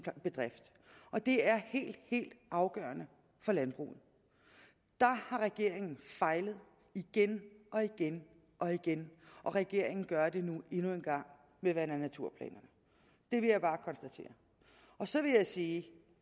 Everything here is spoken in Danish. bedrift og det er helt helt afgørende for landbruget der har regeringen fejlet igen og igen og igen og regeringen gør det nu endnu en gang med vand og naturplanerne det vil jeg bare konstatere så vil jeg sige